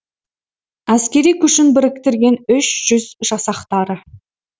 әскери күшін біріктірген үш жүз жасақтары